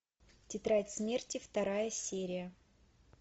тетрадь смерти вторая серия